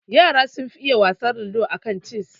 Yara sun fi iya wasar ludo aka cess